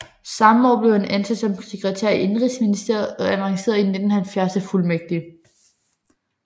Samme år blev han ansat som sekretær i Indenrigsministeriet og avancerede i 1970 til fuldmægtig